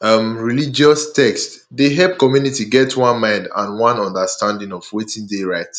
um religius text dey help community get one mind and one understanding of wetin dey right